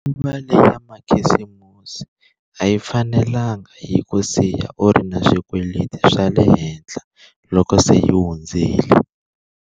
Nguva leya makhisimusi a yi fanelanga yi ku siya u ri na swikweleti swa le henhla loko se yi hundzile.